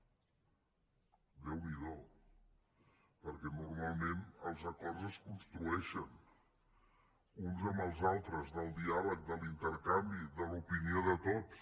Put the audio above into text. déu n’hi do perquè normalment els acords es construeixen uns amb els altres del diàleg de l’intercanvi de l’opinió de tots